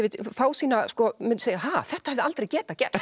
fá mun segja ha þetta hefði aldrei getað gerst